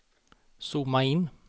zooma in